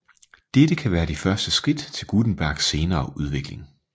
Dette kan være de første skridt til Gutenbergs senere udvikling